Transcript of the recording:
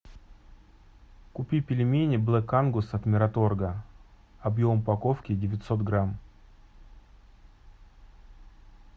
купи пельмени блэк ангус от мираторга объем упаковки девятьсот грамм